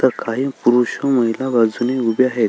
तर काही पुरुष व महिला बाजूने उभ्या आहेत.